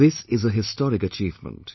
This is a historic achievement